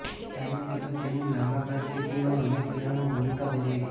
ડાયન Keaton તેમની લાંબા કારકીર્દીમાં અનેક ફિલ્મોમાં ભૂમિકા ભજવી છે